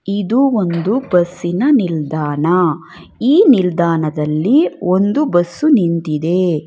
ಇದು ಒಂದು ಬಸ್ಸಿನ ನಿಲ್ದಾಣ ಈ ನಿಲ್ದಾಣದಲ್ಲಿ ಒಂದು ಬಸ್ಸು ನಿಂತಿದೆ.